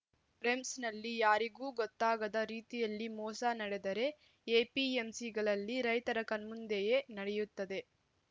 ರೆಮ್ಸನಲ್ಲಿ ಯಾರಿಗೂ ಗೊತ್ತಾಗದ ರೀತಿಯಲ್ಲಿ ಮೋಸ ನಡೆದರೆ ಎಪಿಎಂಸಿಗಳಲ್ಲಿ ರೈತರ ಕಣ್ಮುಂದೆಯೇ ನಡೆಯುತ್ತದೆ